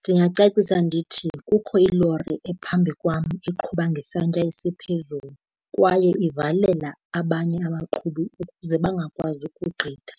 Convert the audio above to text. Ndingacacisa ndithi, kukho ilori ephambi kwam eqhuba ngesantya esiphezulu kwaye ivalela abanye abaqhubi ukuze bangakwazi ukugqitha,